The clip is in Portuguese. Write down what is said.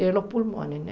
E nos pulmões, né?